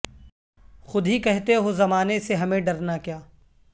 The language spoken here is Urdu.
خود ہی کہتے ہو زمانے سے ہمیں ڈرنا کیا